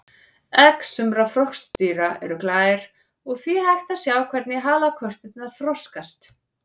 Egg sumra froskdýra eru glær og því hægt að sjá hvernig halakörturnar þroskast.